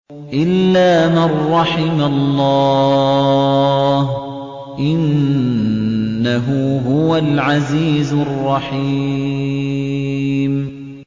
إِلَّا مَن رَّحِمَ اللَّهُ ۚ إِنَّهُ هُوَ الْعَزِيزُ الرَّحِيمُ